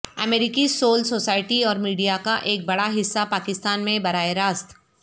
امریکی civil society اور media کا ایک بڑا حصہ پاکستان میں براہ راست